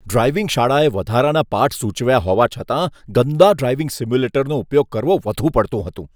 Driving શાળાએ વધારાના પાઠ સૂચવ્યા હોવા છતાં, ગંદા ડ્રાઈવિંગ સિમ્યુલેટરનો ઉપયોગ કરવો વધુ પડતું હતું.